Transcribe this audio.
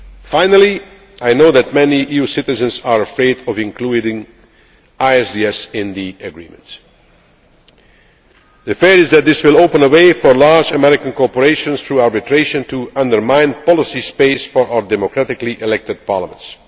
on ideology. Finally, I know that many EU citizens are afraid of including ISDS in the agreement. The feeling is that this will open a way for large American corporations through arbitration to undermine policy space for our democratically elected